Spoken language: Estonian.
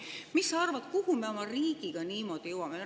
Mis sa arvad, kuhu me oma riigiga niimoodi jõuame?